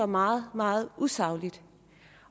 meget meget usagligt